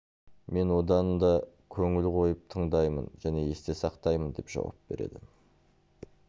мен одан да көңіл қойып тыңдаймын және есте сақтаймын деп жауап береді